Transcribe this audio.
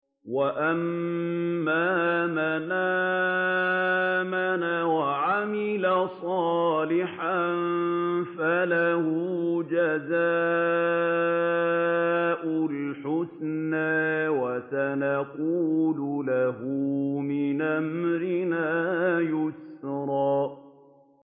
وَأَمَّا مَنْ آمَنَ وَعَمِلَ صَالِحًا فَلَهُ جَزَاءً الْحُسْنَىٰ ۖ وَسَنَقُولُ لَهُ مِنْ أَمْرِنَا يُسْرًا